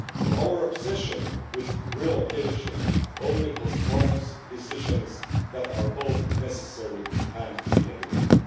Our obsession with relocation only postpones decisions that are both necessary and inevitable.